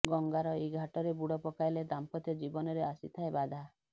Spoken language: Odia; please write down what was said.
ଗଙ୍ଗାର ଏହି ଘାଟରେ ବୁଡ଼ ପକାଇଲେ ଦାମ୍ପତ୍ୟ ଜୀବନରେ ଆସିଥାଏ ବାଧା